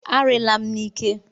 A riila m n'ike!